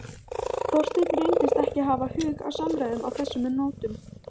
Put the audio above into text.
Þorsteinn reyndist ekki hafa hug á samræðum á þessum nótum.